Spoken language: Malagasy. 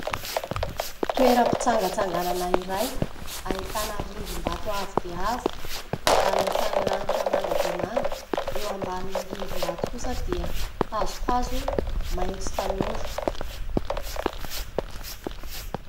Toeram-pitsangatsanganana iray ahitana rindrim-bato avo dia avo, alofan'ny lanitra manga dia manga. Eo ambanin'ny rindrim-bato kosa dia hazohazo maitso tanora.